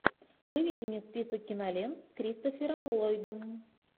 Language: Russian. выведи мне список кинолент с кристофером ллойдом